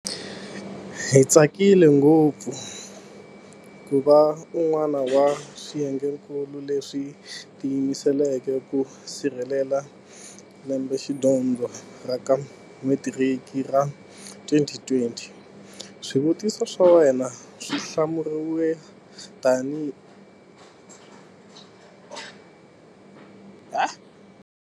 Hi tsakile ngopfu ku va un'wana wa swiyengenkulu leswi tiyimiseleke ku sirhelela lembexidyondzo ra ka Metiriki ra 2020. Swivutiso swa wena swi hlamuriwa hi tihi tidyondzo leti khumbhekaka?